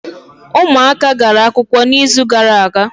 Ụmụaka gara akwụkwọ n’izu gara aga